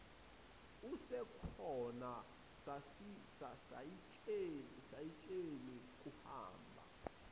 usukhona sayitsheni kuhamba